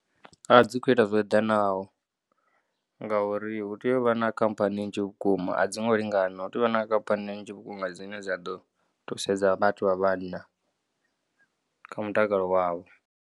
A dzi kho ita zwo eḓanaho ngauri hu tea u vha na khamphani nnzhi vhukuma, a dzi ngo lingana. Hu tea u vha na khamphani nnzhi vhukuma dzine dza ḓo thusedza vhathu vha vhanna kha mutakalo wavho.